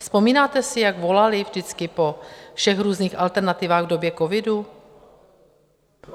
Vzpomínáte si, jak volali vždycky po všech různých alternativách v době covidu?